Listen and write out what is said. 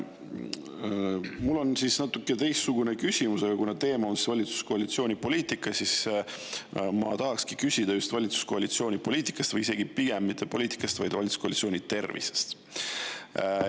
Mul on natuke teistsugune küsimus, aga kuna teema on valitsuskoalitsiooni poliitika, siis ma tahakski küsida just valitsuskoalitsiooni poliitika kohta või isegi pigem mitte poliitika, vaid valitsuskoalitsiooni tervise kohta.